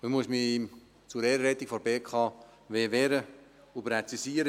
Ich muss mich zur Ehrenrettung der BKW wehren und präzisieren: